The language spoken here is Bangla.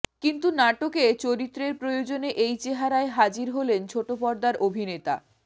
কিন্তু নাটকে চরিত্রের প্রয়োজনে এই চেহারায় হাজির হলেন ছোট পর্দার অভিনেতা